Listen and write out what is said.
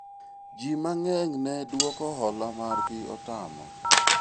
jii mang'eny ne dwoko hola margi otamo